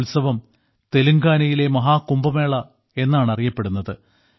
ഈ ഉത്സവം തെലുങ്കാനയിലെ മഹാകുംഭമേള എന്നാണ് അറിയപ്പെടുന്നത്